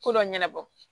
Ko dɔ ɲɛnabɔ